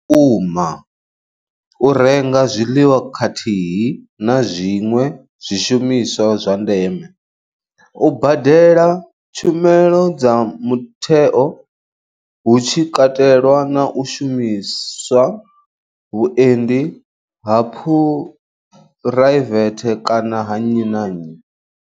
Kuma u renga zwiḽiwa khathihi na zwiṅwe zwishumiswa zwa ndeme, u badela tshumelo dza mutheo hu tshi katelwa na u shumisa vhuendi ha phuraivethe kana ha nnyi na nnyi.